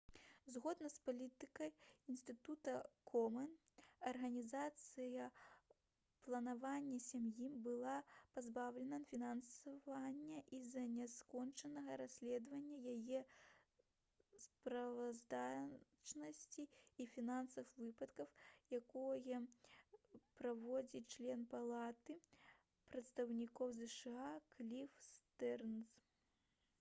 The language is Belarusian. згодна з палітыкай інстытута комэн арганізацыя «планаванне сям'і» была пазбаўлена фінансавання з-за няскончанага расследавання яе справаздачнасці і фінансавых выдаткаў якое праводзіць член палаты прадстаўнікоў зша кліф стэрнз